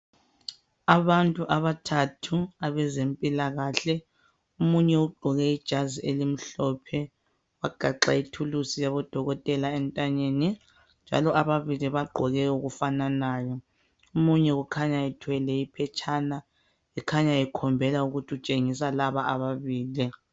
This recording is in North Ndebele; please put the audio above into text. Abantu abathathu abazempilakahle. Omunye ugqoke ijazi elimhlophe, wagaqa ithulusi yabo dokotela entanyeni, njalo ababili bagqoke okufananayo. Omunye kukhanya uthwele iphetshana, eukhanya ekhombela ukuthi utshengisa laba ababili.